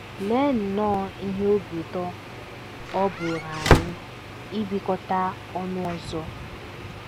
Lee nnọọ ihe obi ụtọ ọ bụụrụ anyị ibikọta ọnụ ọzọ!